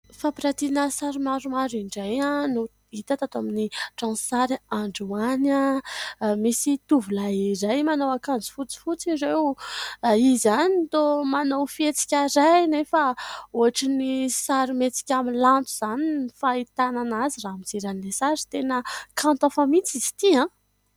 Fampirantiana sary maromaro indray no hita tato amin'ny tranon-tsary, androany. Misy tovolahy izay manao akanjo fotsifotsy ireo, izy ihany no toa manao fihetsika iray, anefa ohatry ny sarimihetsika milanto izany no fahitana azy, raha jerena ilay sary. Tena kanto hafa mihitsy izy ity.